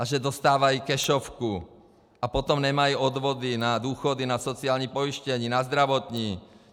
A že dostávají kešovku a potom nemají odvody na důchody, na sociální pojištění, na zdravotní.